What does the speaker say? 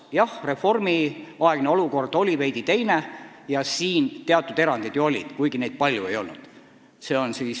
Jah, reformiaegne olukord oli veidi teine ja tehti teatud erandid, aga kuigi palju neid ei olnud.